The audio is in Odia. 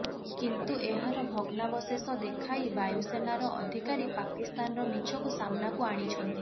କିନ୍ତୁ ଏହାର ଭଗ୍ନାବେଶଷ ଦେଖାଇ ବାୟୁସେନାର ଅଧିକାରୀ ପାକିସ୍ତାନର ମିଛକୁ ସାମ୍ନାକୁ ଆଣିଛନ୍ତି